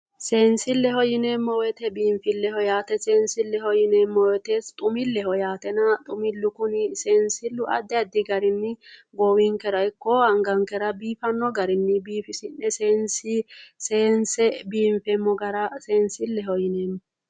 Seensileho yineemmo woyte biinfileho yaate, biinfileho yineemmo woyte xumileho yaatenna, seensilu kunni addi addi garinni goowinkera ikko angankera biifano garinni biifisi'ne seense biinfeemmo gara biinfileho yineemmo